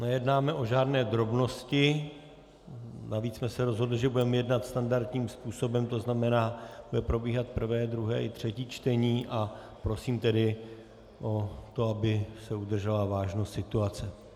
Nejednáme o žádné drobnosti, navíc jsme se rozhodli, že budeme jednat standardním způsobem, to znamená, bude probíhat prvé, druhé i třetí čtení, a prosím tedy o to, aby se udržela vážnost situace.